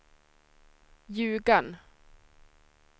Ljugarn